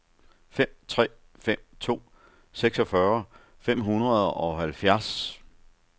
fem tre fem to seksogfyrre fem hundrede og halvfjerds